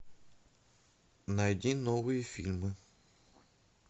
найди новые фильмы